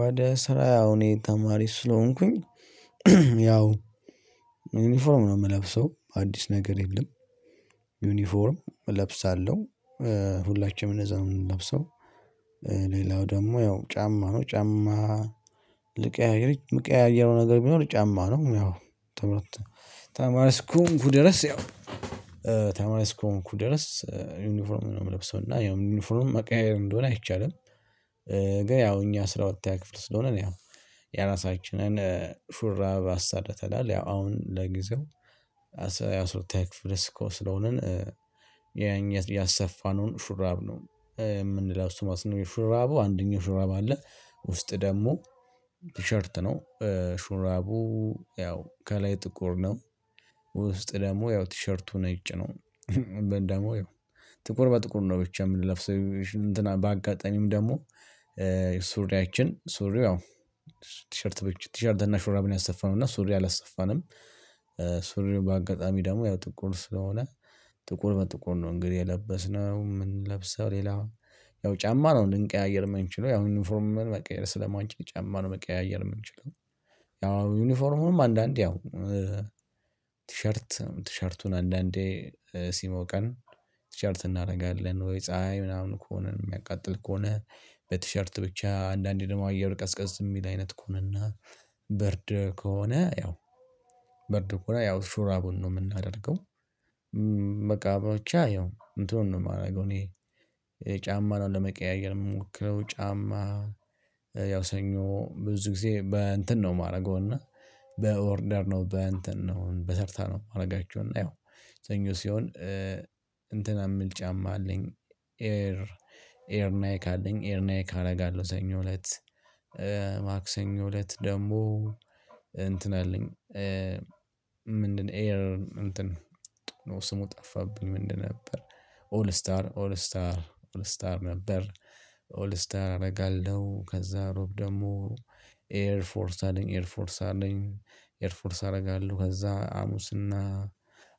ወደ ስራ ያው እኔ ተማሪ ስለሆንኩኝ ያው ዩኒፎርም ነው የምለብሰው አዲስ ነገር የለም። ዩኒፎርም እለብሳለሁ ሁላችንም እነዛ ምንለብሰው። ሌላው ደግሞ ያው ጫማ ነው ጫማ ልቀያየር የምቀያየረው ነገር ቢኖር ጫማ ነው። ያው ትምህርት ተማሪ እስከ ሆንኩ ድረስ ያው ተማሪ እስከ ሆንኩ ድረስ ዩኒፎርም ነው የምለብሰው እና ዩኒፎርም መቀያየር እንደሆነ አይቻልም። ግን ያው እኛ አስራ ሁለተኛ ክፍል ስለሆነ ነው ያው የራሳችንን ሹራብ አሰርተናል። ያው አሁን ለጊዜው አስራ ሁለተኛ ክፍለ ስኮ ስለሆንን ያኛት ያሰፋነውን ሹራብ ነው የምንለብሰው ማለት ነው። የሹራቡ አንደኛው ሹራብ አለ ውስጡ ደግሞ ቲሸርት ነው። ሹራቡ ያው ከላይ ጥቁር ነው። ውስጥ ደግሞ ያው ቲሸርቱ ነጭ ነው። ደግሞ ያው ጥቁር በጥቁር ነው ብቻ የምንለብሰው እንትን በአጋጣሚም ደግሞ ሱሪያችን ሱሪው አዎ ቲሸርት ብቸ ቲሸርት እና ሹራብን ያሰፋነው እና ሱሪው አላሰፋንም። በአጋጣሚ ደግሞ ያው ጥቁር ስለሆነ ጥቁር በጥቁር ነው እንግዲህ የለበስነው ምን ለብሰው? ሌላ ያው ጫማ ነው እንድንቀያየር የምንችለው ያው ዩኒፎርምን መቀየር ስለማንችል ጫማ ነው መቀያየር የምንችለው። ያው ዩኒፎርሙንም አንዳንዴ ያው ቲሸርት ቲሸርቱን አንዳንዴ ሲሞቀን ቲሸርት እናደርጋለን ወይ ፀሀይ ምናምን ከሆነ የሚያቃጥል ከሆነ በቲሸርት ብቻ አንዳንዴ ደግሞ አየሩ ቀዝቀዝ የሚል አይነት ከሆነና በርድ ከሆነ ያው በርድ ከሆነ ያው ሹራቡን ነው የምናደርገው። በቃ ብቻ ይሀው እንትኑን ነው የማደርገው እኔ ጫማ ነው ለመቀያየር የምንሞክረው። ጫማ ያው ሰኞ ብዙ ጊዜ በእንትን ነው የማደርገው እና በኦርደር ነው በእንትን ነው በተርታ ነው የማደርጋቸው። እና ይኸው ሰኞ ሲሆን እንትና የምል ጫማ አለኝ ኤር ኤር ናይክ አለኝ ኤር ናይክ አደርጋለሁ። ሰኞ እለት ማክሰኞ እለት ደግሞ እንትን አለኝ። ምንድነው ኤር እንትን ነው ስሙ ጠፋብኝ ምንድነው ነበር? ኦል ስታር ኦል ስታር ኦል ስታር ነበር። ኦል ስታር አደርጋለሁ ከዛ ሮብ ደግሞ ኤር ፎርስ አለኝ ኤር ፎርስ አለኝ ኤርፎርስ አደርጋለሁ። ከዛ ሐሙስና